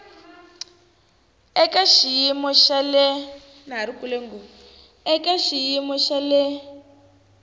ya eka xiyimo xa le